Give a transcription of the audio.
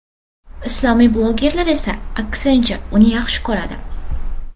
Islomiy blogerlar esa, aksincha, uni yaxshi ko‘radi.